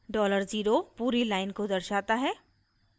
$0 पूरी line को दर्शाता है